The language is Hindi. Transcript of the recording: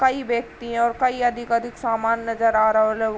कई व्यक्ति और कई अधिक अधिक सामान नजर आ राउ लउ --